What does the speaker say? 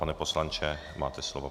Pane poslanče, máte slovo.